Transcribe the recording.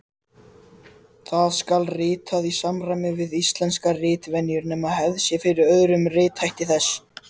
Það skal ritað í samræmi við íslenskar ritvenjur nema hefð sé fyrir öðrum rithætti þess.